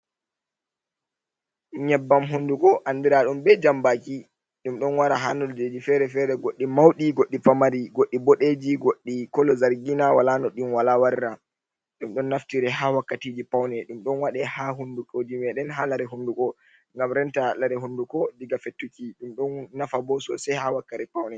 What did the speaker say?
nyebbam hunduko, anndiraaɗum be jammbaaki ɗum ɗon wara haa nanndeeji fere-fere, goɗɗi mawɗi, goɗɗi pamari ,goɗɗi boɗeeji goɗɗi kolo zargiina ,wala no ɗi wala warra. Ɗum ɗon naftire haa wakkatiiji pawne .Ɗum ɗon waɗe haa hunndukooji meedɗen, haa lare hunnduko ngam renta lare hunnduko diga fettuki .Ɗum ɗon nafa bo sosay haa wakkati pawne.